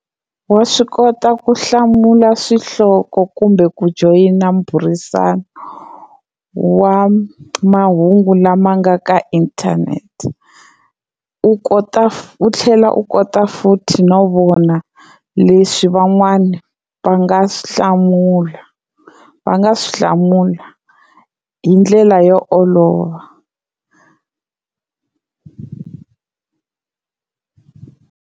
Wa swi kota ku hlamula swihloko kumbe ku joyina mbhurisano wa mahungu lama nga ka internet u kota u tlhela u kota futhi no vona leswi van'wani va nga swi hlamula va nga swi hlamula hi ndlela yo olova.